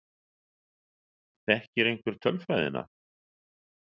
Þekkir einhver tölfræðina?